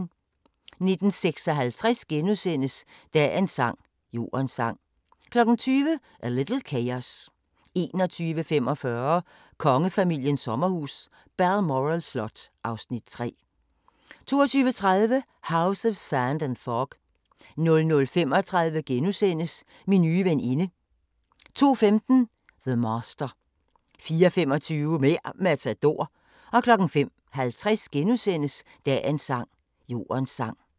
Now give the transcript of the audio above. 19:56: Dagens sang: Jordens sang * 20:00: A Little Chaos 21:45: Kongefamiliens sommerhus – Balmoral slot (Afs. 3) 22:30: House of Sand and Fog 00:35: Min nye veninde * 02:15: The Master 04:25: Mer' Matador 05:50: Dagens sang: Jordens sang *